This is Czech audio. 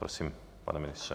Prosím, pane ministře.